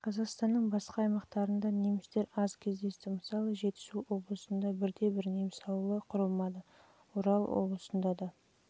қазақстанның басқа аймақтарында немістер аз кездесті мысалы жетісу облысында бірде-бір неміс ауылы құрылмады орал облысында да